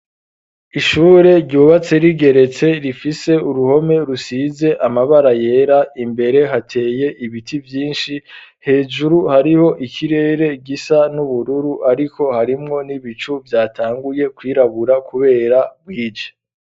Ishure ryubatse rigeretse, rifise uruhome rusize amabara yera, imbere hateye ibiti vyinshi, hejuru hariho ikirere gisa n'ubururu, ariko harimwo n'ibicu vyatanguye kwirabura, kubera bwije.